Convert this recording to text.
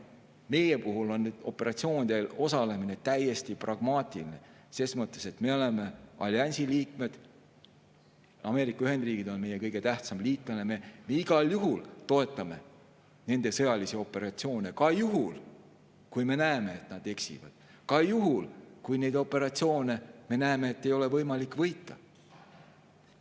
Meie puhul on operatsioonidel osalemine täiesti pragmaatiline ses mõttes, et me oleme alliansi liikmed, Ameerika Ühendriigid on meie kõige tähtsam liitlane, me igal juhul toetame tema sõjalisi operatsioone, ka juhul, kui me näeme, et ta eksib, ka juhul, kui me näeme, et neid operatsioone ei ole võimalik võita.